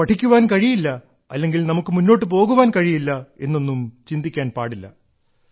നമുക്ക് പഠിക്കുവാൻ കഴിയില്ല അല്ലെങ്കിൽ നമുക്ക് മുന്നോട്ടു പോകുവാൻ കഴിയില്ല എന്നൊന്നും ചിന്തിക്കാൻ പാടില്ല